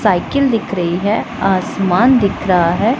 Cycle दिख रही है आसमान दिख रहा है।